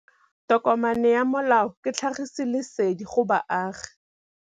Tokomane ya molao ke tlhagisi lesedi go baagi.